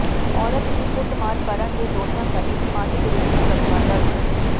ਔਰਤ ਦੀ ਕੁੱਟਮਾਰ ਕਰਨ ਦੇ ਦੋਸ਼ਾਂ ਤਹਿਤ ਪੰਜ ਵਿਰੁੱਧ ਮੁਕੱਦਮਾ ਦਰਜ